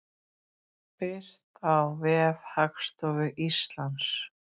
Birt á vef Hagstofu Íslands.